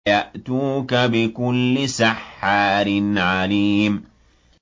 يَأْتُوكَ بِكُلِّ سَحَّارٍ عَلِيمٍ